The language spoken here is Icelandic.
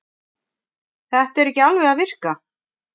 Það er ekki alveg að virka